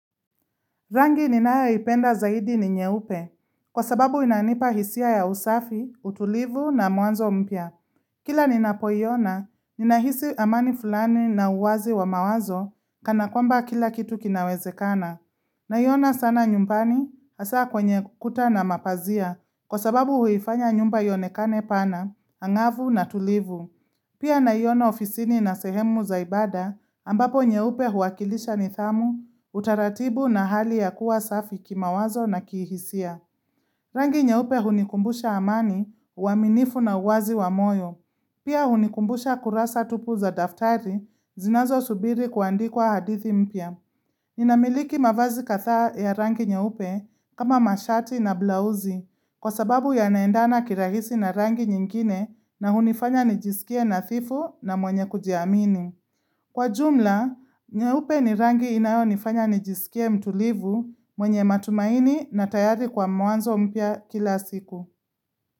Rangi ninayoipenda zaidi ni nyeupe, kwa sababu inanipa hisia ya usafi, utulivu na mwanzo mpya. Kila ninapoiona, ninahisi amani fulani na uwazi wa mawazo, kana kwamba kila kitu kinawezekana. Naiona sana nyumbani, hasaa kwenye kuta na mapazia, kwa sababu huifanya nyumba ionekane pana, angavu na tulivu. Pia naiona ofisini na sehemu za ibada ambapo nyeupe huakilisha nidhamu, utaratibu na hali ya kuwa safi kimawazo na kihisia. Rangi nyeupe hunikumbusha amani, uaminifu na uwazi wa moyo. Pia hunikumbusha kurasa tupu za daftari, zinazosubiri kuandikwa hadithi mpya. Ninamiliki mavazi kadhaa ya rangi nyeupe kama mashati na blausi. Kwa sababu yanaendana kirahisi na rangi nyingine na hunifanya nijisikie nadhifu na mwenye kujiamini. Kwa jumla, nyeupe ni rangi inayonifanya nijisikie mtulivu mwenye matumaini na tayari kwa mwanzo mpya kila siku.